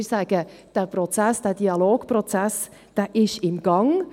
Wir sagen: Der Dialogprozess ist im Gang.